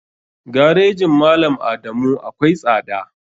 Garejin malam adamu akwai tsada.